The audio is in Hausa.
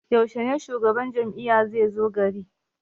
Yaushe shugaban jam'iyya zai zo gari?